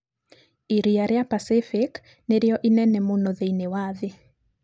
Iria rĩa Pacific nĩrĩo inene mũno thĩinĩ wa thĩ.